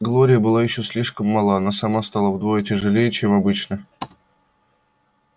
глория была ещё слишком мала но сама стала вдвое тяжелее чем обычно